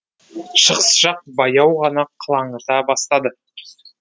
шығыс жақ баяу ғана қылаңыта бастады